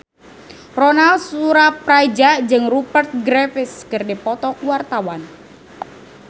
Ronal Surapradja jeung Rupert Graves keur dipoto ku wartawan